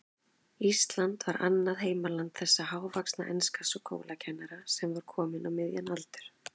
Ísland var annað heimaland þessa hávaxna enska skólakennara, sem kominn var á miðjan aldur.